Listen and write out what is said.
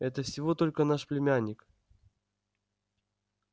это всего только наш племянник